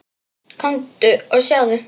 Komdu og sjáðu!